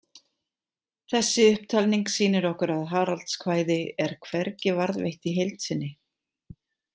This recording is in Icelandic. Þessi upptalning sýnir okkur að Haraldskvæði er hvergi varðveitt í heild sinni.